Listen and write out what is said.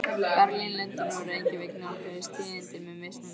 Berlín, Lundúnir og Reykjavík nálguðust tíðindin með mismunandi hætti.